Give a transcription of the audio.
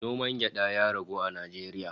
Noman gyada ya ragu a Najeriya